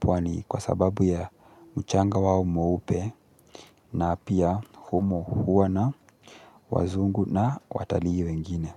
pwani kwa sababu ya mchanga wao mweupe na pia humo huwa na wazungu na watalii wengine.